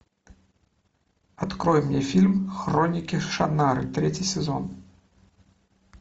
открой мне фильм хроники шаннары третий сезон